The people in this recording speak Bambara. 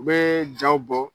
U bɛɛ jaw bɔ